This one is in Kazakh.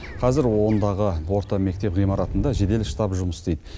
қазір ондағы орта мектеп ғимаратында жедел штаб жұмыс істейді